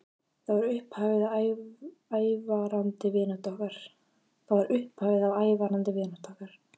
Það varð upphafið að ævarandi vináttu okkar.